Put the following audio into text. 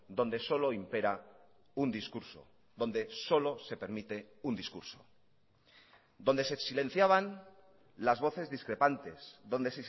donde solo impera un discurso donde solo se permite un discurso donde se silenciaban las voces discrepantes donde